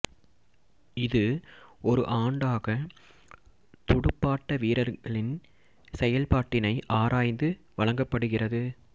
இது ஒரு ஆண்டாக துடுப்பாட்ட வீரர்களின் செயல்பாட்டினை ஆராய்ந்து வழங்கப்படுகிறது